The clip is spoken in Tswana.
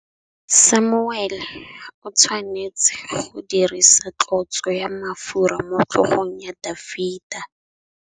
Samuele o tshwanetse go dirisa tlotsô ya mafura motlhôgong ya Dafita.